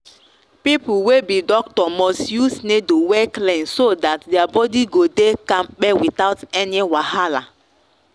people wey be doctor must use needle wey clean so that their body go dey kampe without any wahala.